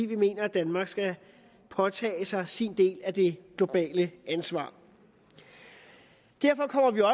vi mener at danmark skal påtage sig sin del af det globale ansvar derfor er det